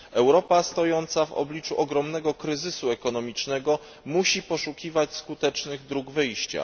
Europa stojąca w obliczu ogromnego kryzysu ekonomicznego musi poszukiwać skutecznych dróg wyjścia.